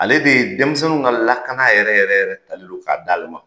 Ale de ye denmisɛnnin ka lakana yɛrɛ yɛrɛ talen k'a d'a le ma.